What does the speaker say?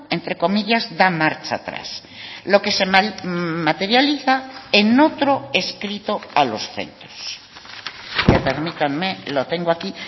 entre comillas da marcha atrás lo que se materializa en otro escrito a los centros permítanme lo tengo aquí